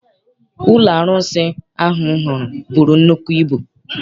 Ụlọ arụsị ahụ m hụrụ buru nnukwu ibu.